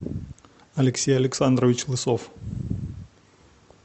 алексей александрович лысов